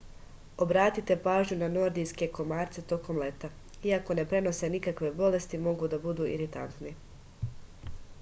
obratite pažnju na nordijske komarce tokom leta iako ne prenose nikakve bolesti mogu da budu iritantni